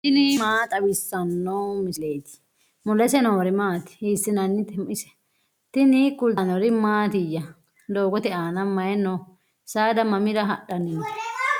tini maa xawissanno misileeti ? mulese noori maati ? hiissinannite ise ? tini kultannori mattiya? doogotte aanna mayi noo? Saada mamira hadhanni noo?